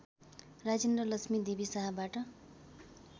Rajendra Lakshmi Devi शाहबाट